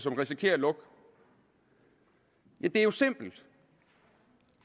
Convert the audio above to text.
som risikerer at lukke det er jo simpelt